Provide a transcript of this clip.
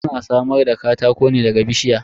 Ana samar da katako ne daga bishiya.